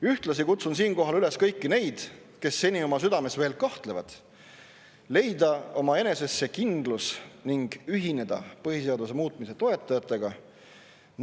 Ühtlasi kutsun siinkohal üles kõiki neid, kes seni oma südames veel kahtlevad, leidma eneses see kindlus ning ühinema põhiseaduse muutmise toetajatega.